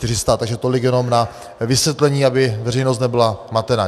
Takže tolik jenom na vysvětlení, aby veřejnost nebyla matena.